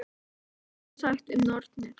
En svo er sagt um nornir.